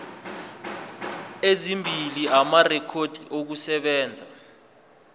ezimbili amarekhodi okusebenza